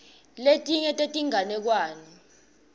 letinye tetinganekwane